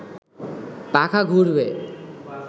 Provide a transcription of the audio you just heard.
পাখা ঘুরবে